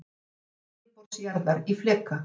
Skipting yfirborðs jarðar í fleka.